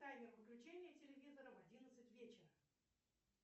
таймер выключения телевизора в одиннадцать вечера